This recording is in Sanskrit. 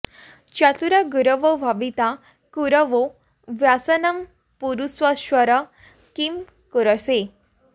चतुरा गुरवो भविता कुरवो व्यसनं पुरुषेश्वर किं कुरुषे